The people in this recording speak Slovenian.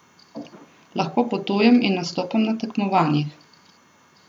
Lahko potujem in nastopam na tekmovanjih.